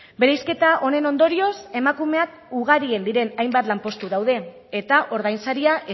bereizketa honen ondorioz emakumeak ugarien diren hainbat lanpostu daude eta ordainsaria